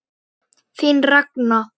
Þín Ragna.